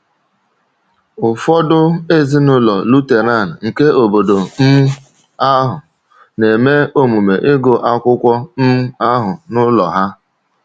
Ụfọdụ ezinụlọ Lutheran nke obodo um ahụ na-eme omume ịgụ akwụkwọ um ahụ n’ụlọ ha.